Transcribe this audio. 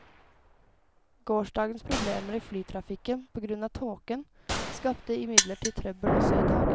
Gårsdagens problemer i flytrafikken på grunn av tåken skapte imidlertid trøbbel også i dag.